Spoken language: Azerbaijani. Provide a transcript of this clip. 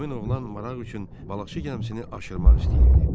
Həmin oğlan maraq üçün balıqçı gəmisini aşırmaq istəyirdi.